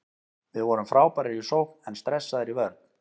Við vorum frábærir í sókn en stressaðir í vörn.